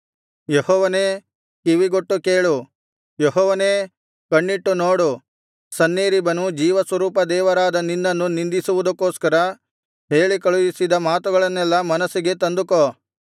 ಯೆಹೋವನೇ ಕಿವಿಗೊಟ್ಟು ಕೇಳು ಯೆಹೋವನೇ ಕಣ್ಣಿಟ್ಟು ನೋಡು ಸನ್ಹೇರೀಬನು ಜೀವಸ್ವರೂಪ ದೇವರಾದ ನಿನ್ನನ್ನು ನಿಂದಿಸುವುದಕ್ಕೋಸ್ಕರ ಹೇಳಿ ಕಳುಹಿಸಿದ ಮಾತುಗಳನ್ನೆಲ್ಲಾ ಮನಸ್ಸಿಗೆ ತಂದುಕೋ